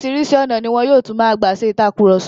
Oríṣìíríṣìí ọ̀nà ni wọn yóò tún máa gbà ṣe ìtàkurọ̀sọ.